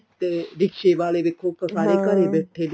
ਤੇ ਰਿਕਸ਼ੇ ਵਾਲੇ ਵੀ ਉ ਤਾਂ ਸਾਰੇ ਘਰੇ ਬੈਠੇ